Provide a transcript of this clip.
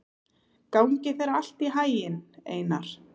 Gangi þér allt í haginn, Einar.